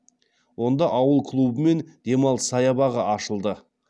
онда ауыл клубы мен демалыс саябағы ашылды